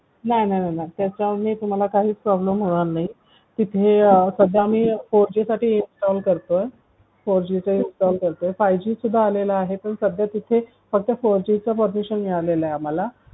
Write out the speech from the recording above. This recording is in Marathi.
नाही नाही नाही त्याच्यामुळे तुम्हाला काहीच problem होणार नाही तिथे सध्या आम्ही four G साठी काम करतोय five G सुद्धा आलेला आहे फक्त four G चा possession मिळालेला आहे आम्हाला